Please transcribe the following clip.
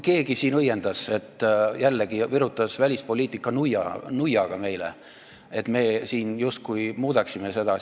Keegi siin õiendas, et meile virutati välispoliitika nuiaga, et me siin justkui muudame seda.